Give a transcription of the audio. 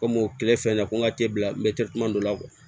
Komi o kɛlen fɛn de ko n ka bila dɔ la